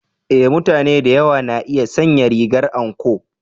E! mutane da yawa na iya sanya rigar anko.